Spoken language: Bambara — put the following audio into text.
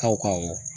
Taw